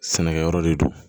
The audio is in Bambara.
Sɛnɛkɛyɔrɔ de don